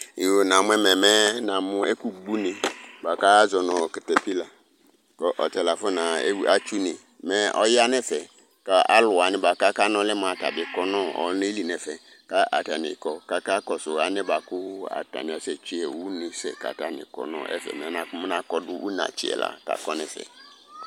ɛgbu ne kazɔnu katapila ɣa nu une ɔɣa nɛ fɛ alu gbo une bi du ɛfɛ